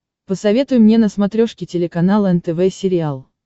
посоветуй мне на смотрешке телеканал нтв сериал